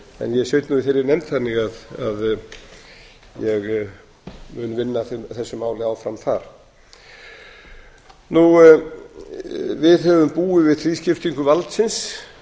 sit nú í þeirri nefnd þannig að ég mun vinna að þessu máli áfram þar við höfum búið við þrískiptingu valdsins